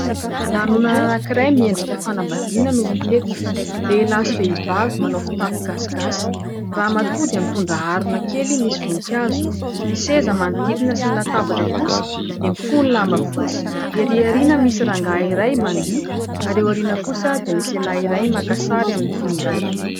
Lanonana anankiray miendrika fanambadiana no hita eto, lehilahy sy vehivavy manao fitafy gasigasy, ramatoa dia mitondra harona kely misy voninkazo, ny seza manodidina sy ny latabatra kosa dia mifono lamba fotsy, erỳ ariana misy rangahy iray mandiha ary eo ariana kosa dia misy lehilahy iray makasary amin'ny finday.